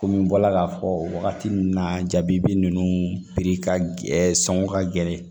Komi n bɔra k'a fɔ wagati min na jabi ninnu piri ka gɛlɛn sɔngɔ ka gɛlɛn